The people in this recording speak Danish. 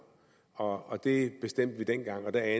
og det bestemte vi dengang og da